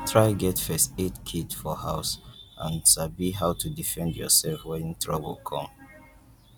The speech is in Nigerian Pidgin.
try get first aid kit for house and sabi how to defend yourself when trouble come